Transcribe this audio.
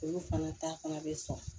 Olu fana ta fana bɛ sɔn